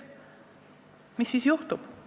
Mis siis juhtuks?